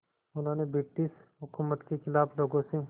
उन्होंने ब्रिटिश हुकूमत के ख़िलाफ़ लोगों से